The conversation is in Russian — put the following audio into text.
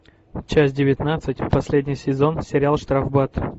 часть девятнадцать последний сезон сериал штрафбат